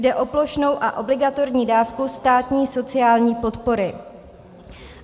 Jde o plošnou a obligatorní dávku státní sociální podpory.